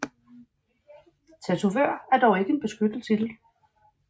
Tatovør er dog ikke en beskyttet titel